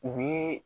U bɛ